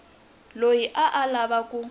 loyi a a lava ku